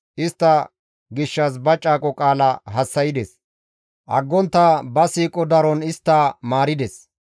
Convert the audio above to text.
Istta gishshas ba caaqo qaala hassa7ides; aggontta ba siiqo daron istta maarides.